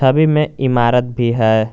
छवि में इमारत भी है।